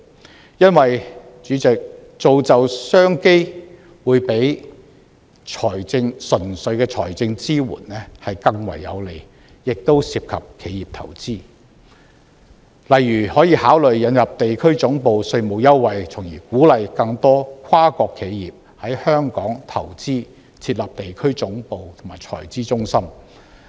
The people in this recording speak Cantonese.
主席，因為造就商機會較純粹的財政支援更為有利，亦涉及企業投資，例如可考慮引入地區總部稅務優惠，從而鼓勵更多跨國企業在香港投資、設立地區總部和財資中心。